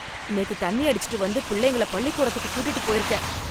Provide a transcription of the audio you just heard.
நேத்து தண்ணி அடிச்சுட்டு வந்து பிள்ளைங்கள பள்ளிக்கூடத்துக்கு கூட்டிட்டுப் போயிருக்க...